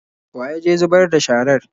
Wa ya je zubar da sharar?